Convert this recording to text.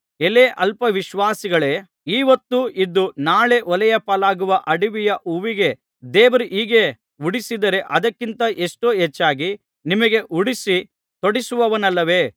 ಎಲೈ ಅಲ್ಪ ವಿಶ್ವಾಸಿಗಳೇ ಈ ಹೊತ್ತು ಇದ್ದು ನಾಳೆ ಒಲೆಯ ಪಾಲಾಗುವ ಅಡವಿಯ ಹುಲ್ಲಿಗೇ ದೇವರು ಹೀಗೆ ಉಡಿಸಿದರೆ ಅದಕ್ಕಿಂತ ಎಷ್ಟೋ ಹೆಚ್ಚಾಗಿ ನಿಮಗೆ ಉಡಿಸಿ ತೊಡಿಸುವನಲ್ಲವೇ